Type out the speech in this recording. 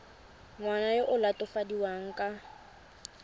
ngwana yo o latofadiwang ka